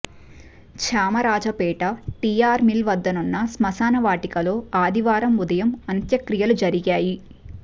Chamarajpet TR mill వద్దనున్న స్మశాన వాటికలో ఆదివారం ఉదయం అంత్యక్రియలు జరిగాయి